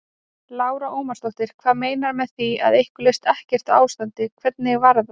Lára Ómarsdóttir: Hvað meinarðu með því að ykkur leist ekkert á ástandið, hvernig var það?